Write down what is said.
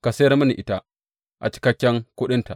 Ka sayar mini ita a cikakken kuɗinta.